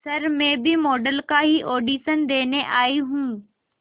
sir मैं भी model का ही ऑडिशन देने आई हूं